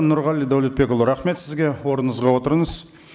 нұрғали дәулетбекұлы рахмет сізге орныңызға отырыңыз